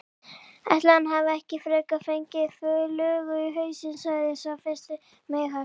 Ætli hann hafi ekki frekar fengið flugu í hausinn sagði sá fyrsti meinhægt.